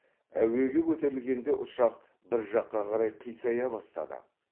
әуеге көтерілгенде ұшақ бір жаққа қарай қисая бастады